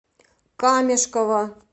камешково